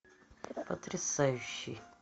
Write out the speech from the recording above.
потрясающий